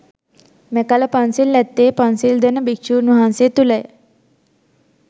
මෙකල පන්සිල් ඇත්තේ පන්සිල් දෙන භික්ෂූන් වහන්සේ තුළය.